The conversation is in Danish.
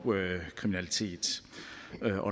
kriminalitet